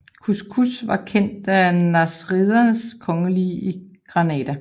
Couscous var kendt af nasridernes kongelige i Granada